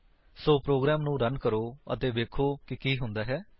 ਸੋ program ਨੂੰ run ਕਰੋ ਅਤੇ ਵੇਖੋ ਕਿ ਕੀ ਹੁੰਦਾ ਹੈ